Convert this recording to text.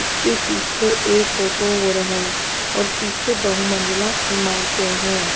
उसके पीछे एक ऑटो और है और पीछे बहुमंजिला इमारतें हैं।